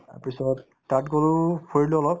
তাৰপিছত তাত গলো ফুৰিলো অলপ